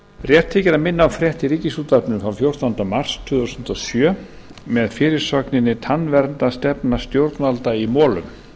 rétt þykir að minna á frétt í ríkisútvarpinu frá fjórtánda mars tvö þúsund og sjö með fyrirsögninni tannverndarstefna stjórnvalda í molum